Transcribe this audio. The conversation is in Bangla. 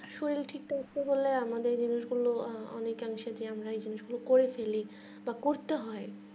শরিল ঠিক আছে বোলে আমাদের অনেক অংশে যে আমরা করতে হয়